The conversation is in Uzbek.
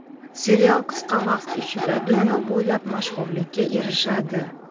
Serial qisqa vaqt ichida dunyo bo‘ylab mashhurlikka erishadi.